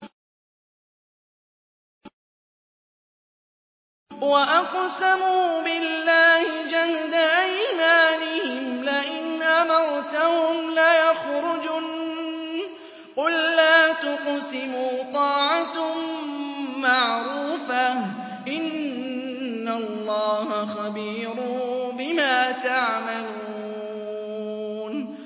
۞ وَأَقْسَمُوا بِاللَّهِ جَهْدَ أَيْمَانِهِمْ لَئِنْ أَمَرْتَهُمْ لَيَخْرُجُنَّ ۖ قُل لَّا تُقْسِمُوا ۖ طَاعَةٌ مَّعْرُوفَةٌ ۚ إِنَّ اللَّهَ خَبِيرٌ بِمَا تَعْمَلُونَ